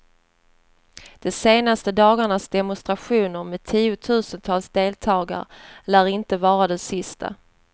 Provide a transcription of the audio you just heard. De senaste dagarnas demonstrationer med tiotusentals deltagare lär inte vara de sista.